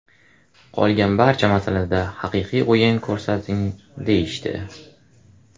Qolgan barcha masalada ‘haqiqiy o‘yin ko‘rsating‘, deyishdi.